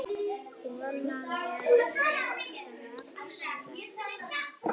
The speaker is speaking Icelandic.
Konan hefði strax þekkt hann.